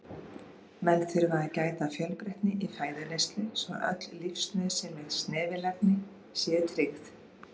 Menn þurfa að gæta fjölbreytni í fæðuneyslu svo öll lífsnauðsynleg snefilefni séu tryggð.